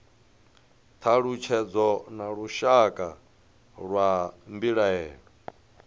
thalutshedzo na lushaka lwa mbilaelo